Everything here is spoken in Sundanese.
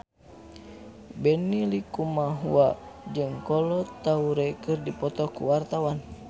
Benny Likumahua jeung Kolo Taure keur dipoto ku wartawan